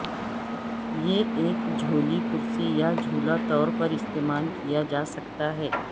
یہ ایک جھولی کرسی یا جھولا طور پر استعمال کیا جا سکتا ہے